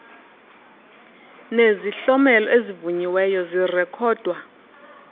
nezihlomelo ezivunyiweyo zirekhodwa